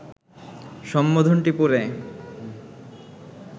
সম্বোধনটি পড়ে